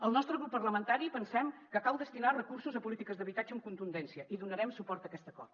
al nostre grup parlamentari pensem que cal destinar recursos a polítiques d’habitatge amb contundència i donarem suport a aquest acord